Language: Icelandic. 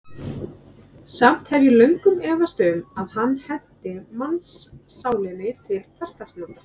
Samt hef ég löngum efast um, að hann henti mannssálinni til hversdagsnota.